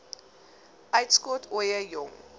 uitskot ooie jong